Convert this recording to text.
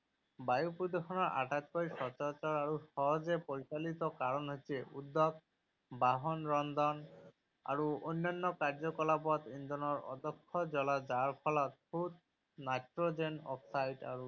বায়ু প্ৰদূষণৰ আটাইতকৈ সচৰাচৰ আৰু সহজে পৰিচালিত কাৰণ হৈছে উদ্যোগ, বাহন, ৰন্ধন, আৰু অন্যান্য কাৰ্যকলাপত ইন্ধনৰ অদক্ষ জ্বলা যাৰ ফলত সূত, নাইট্ৰজেন অক্সাইড আৰু